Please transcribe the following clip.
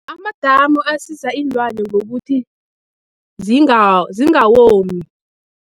Amadamu asiza iinlwane ngokuthi zingawomi.